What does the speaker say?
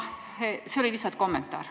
See oli lihtsalt kommentaar.